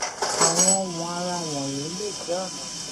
àwọn ohun àrà wọnyí lè jẹ ọnà tí